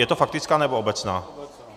Je to faktická, nebo obecná?